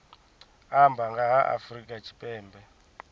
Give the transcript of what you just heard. amba nga ha afrika tshipembe